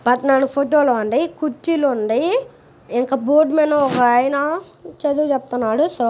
పద్నాలుగు ఫోటో లు ఉన్నాయి. కుర్చీలు ఉన్నాయి. ఇంకా బోర్డు మీద ఒకాయన చదువు చెప్తున్నాడు. సో----